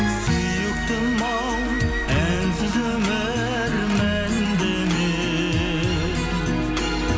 сүйіктім ау әнсіз өмір мәнді ме